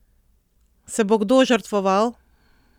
Se bo kdo žrtvoval?